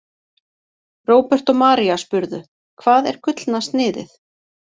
Róbert og María spurðu: Hvað er Gullna sniðið?